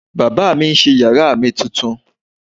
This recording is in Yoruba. Baba mi n ṣe yara mi tuntun